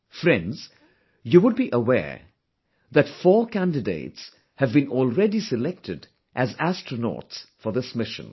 Friends, you would be aware that four candidates have been already selected as astronauts for this mission